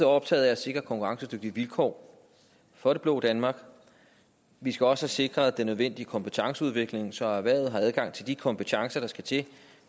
optaget af at sikre konkurrencedygtige vilkår for det blå danmark vi skal også have sikret den nødvendige kompetenceudvikling så erhvervet har adgang til de kompetencer der skal til